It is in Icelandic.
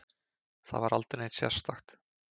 Það var aldrei neitt sérstakt.